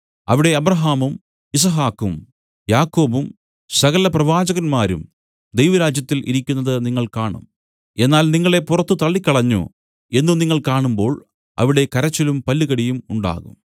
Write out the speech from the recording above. അവിടെ അബ്രാഹാമും യിസ്ഹാക്കും യാക്കോബും സകല പ്രവാചകന്മാരും ദൈവരാജ്യത്തിൽ ഇരിക്കുന്നത് നിങ്ങൾ കാണും എന്നാൽ നിങ്ങളെ പുറത്തു തള്ളിക്കളഞ്ഞു എന്നു നിങ്ങൾ കാണുമ്പോൾ അവിടെ കരച്ചിലും പല്ലുകടിയും ഉണ്ടാകും